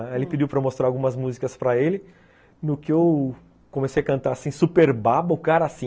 Aí ele pediu para eu mostrar algumas músicas para ele, no que eu comecei a cantar, assim, super babo, o cara, assim...